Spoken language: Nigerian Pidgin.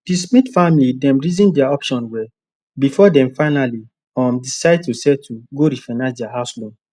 the smith family dem reason their options well before dem finally um decide to settle go refinance their house loan